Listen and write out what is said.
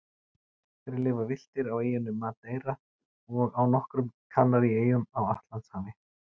Þeir lifa villtir á eyjunni Madeira og á nokkrum Kanaríeyjum á Atlantshafi.